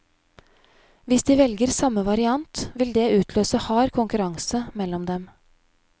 Hvis de velger samme variant, vil det utløse hard konkurranse mellom dem.